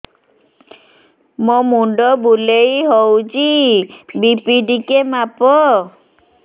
ମୋ ମୁଣ୍ଡ ବୁଲେଇ ହଉଚି ବି.ପି ଟିକେ ମାପ